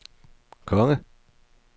konge